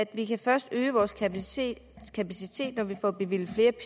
vi kan først øge vores kapacitet når vi får bevilget